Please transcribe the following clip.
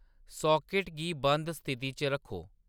socket गी बंद स्थिति च रक्खो